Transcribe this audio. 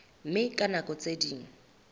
mme ka nako tse ding